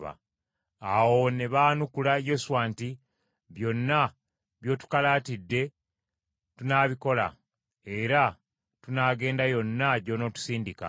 Awo ne baanukula Yoswa nti, “Byonna by’otukalaatidde tunaabikola era tunaagenda yonna gy’onootusindika.